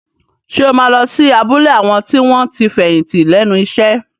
Ṣé o máa lọ sí abúlé àwọn tí wọ́n ti fẹ̀yìntì lẹ́nu iṣẹ́?